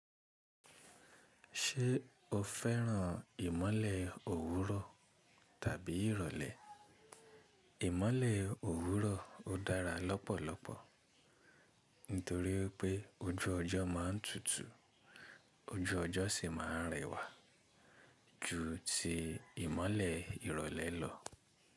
Ṣé o fẹ́ràn ìmọ̀le òwúrọ̀ tàbí ìrọ̀lẹ́? Ìmọ̀le òwúrọ̀ ó dára lọ́pọ̀lọpọ̀ nítorí pé ojú ọjọ́ má a tútù, ojú ọjọ́ sì má a rẹwà ju ti ìmọ̀le ìrọ̀lẹ́ lọ.